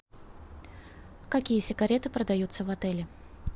какие сигареты продаются в отеле